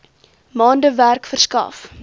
maande werk verskaf